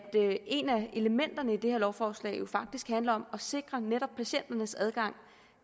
elementerne i det her lovforslag jo faktisk handler om at sikre netop patienternes adgang